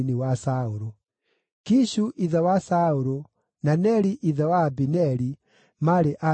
Kishu ithe wa Saũlũ, na Neri ithe wa Abineri maarĩ ariũ a Abieli.